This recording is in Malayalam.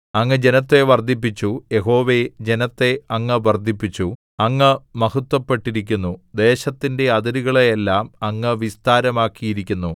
അങ്ങ് ജനത്തെ വർദ്ധിപ്പിച്ചു യഹോവേ ജനത്തെ അങ്ങ് വർദ്ധിപ്പിച്ചു അങ്ങ് മഹത്ത്വപ്പെട്ടിരിക്കുന്നു ദേശത്തിന്റെ അതിരുകളെയെല്ലാം അങ്ങ് വിസ്താരമാക്കിയിരിക്കുന്നു